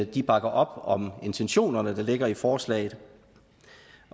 de bakker op om intentionerne der ligger i forslaget